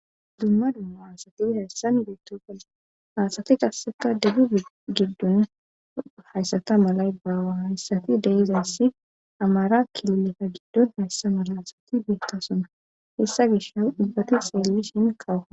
Dumma dumma haasati hayssan beettofale haasati gasseka debbu giddun hayssata malay baawa hayssati deizayssi amara kiluleta giddun hayssa mala asati beetta sona hessa gisha ubbati xeellishiin kaw